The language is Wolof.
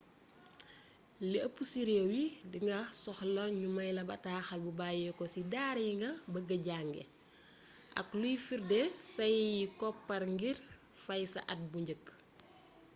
lu eepp ci rééw yi dinga soxla gnu mayla bataxal bu bayiko ci daara yinga beegee jangé ak luy firdé say koppar ngir faye sa at bu njeekk